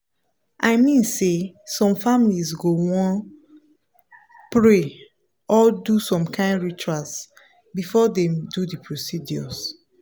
i mean say some families go wan pause pray or do some kain rituals before dem do the procedures.